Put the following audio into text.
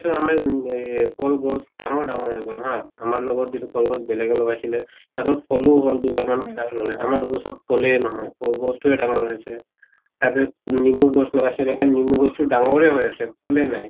so আমাৰ এহ কল গছ ডাঙৰ ডাঙৰ হৈ গʼল হা, আমাৰ লগত যিটো কলগছ বেলেগে লগাইছিলে, সিহঁতৰ ফলো হʼল দুবাৰ আমাৰ গছত ফলে নহয় কল গছ্টোয়ে ডাঙৰ হৈ আছে। তাৰ পিছত লেমু গছ লগাইছিলে লেমু গছতো ডাঙৰে হৈ আছে, ফলে নাই।